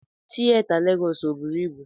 Tieta Legọs o bụrụ ịbụ?